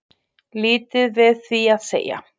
Lítið við því að segja